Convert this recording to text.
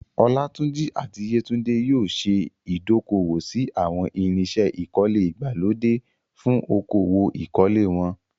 Olatunji àti Yetunde yóò ṣe ìdókòwò sí àwọn irinṣẹ́ ìkọ́lé ìgbàlódé fún okòwò ìkọ́lé wọn.